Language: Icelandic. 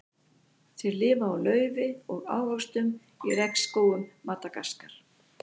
Þeir lifa á laufi og ávöxtum í regnskógum Madagaskar.